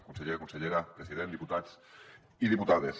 conseller consellera president diputats i diputades